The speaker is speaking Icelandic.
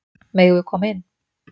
Megum við koma inn?